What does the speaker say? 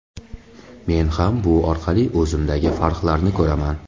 Men ham bu orqali o‘zimdagi farqlarni ko‘raman.